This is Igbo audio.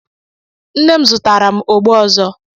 Nne m zụtara m ọgbọ ọzọ.